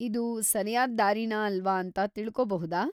ಇದು ಸರ್ಯಾದ್‌ ದಾರಿನಾ ಅಲ್ವಾ ಅಂತ ತಿಳ್ಕೊಬಹುದಾ?